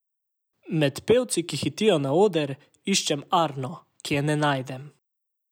Med pevci, ki hitijo na oder, iščem Arno, a je ne najdem.